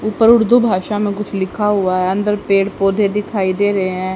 ऊपर उर्दू भाषा में कुछ लिखा हुआ है अंदर पेड़ पौधे दिखाई दे रहे हैं।